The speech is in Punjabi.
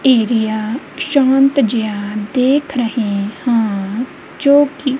ਏਰੀਆ ਸ਼ਾਂਤ ਜੇਹਾ ਦੇਖ ਰਹੇ ਹਾਂ ਜੋ ਕਿ--